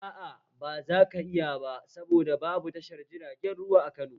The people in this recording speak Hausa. Aa, ba zaka iya ba saboda babu tashar jiragen ruwa a Kano